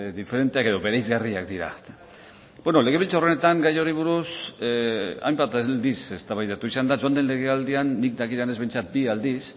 diferenteak edo bereizgarriak dira beno legebiltzar honetan gai honi buruz hainbat aldiz eztabaidatu izan da joan den legealdian nik dakidanez behintzat bi aldiz